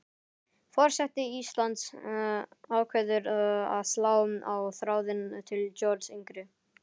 Forseti Íslands ákveður að slá á þráðinn til Georgs yngri.